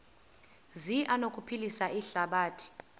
zi anokuphilisa ihlabathi